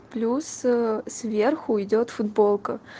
плюс сверху идёт футболка